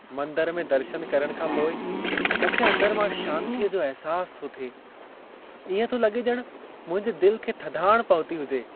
मंदर में दर्शन करण खां पोइ मूंखे अंदर मां शांतीअ जो अहिसास थो थिए। इएं थो लॻे ॼण मुंहिंजे दिल खे थधाण पहुती हुजे।